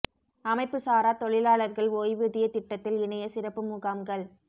அமைப்பு சாரா தொழிலாளா்கள் ஓய்வூதியத் திட்டத்தில் இணைய சிறப்பு முகாம்கள்